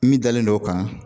Min dalen don o kan